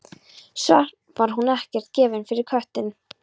Samt var hún ekkert gefin fyrir köttinn.